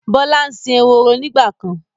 Bọlá ń sìn ehoro nígbàkan.